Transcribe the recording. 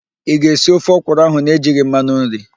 Ị ga-esi ofe ọkwụrụ ahụ na-ejighi mmanụ nri?